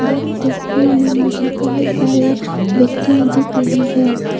इस तस्वीर में मुझे बहुत सारी व्यक्तियां दिख रही हैं।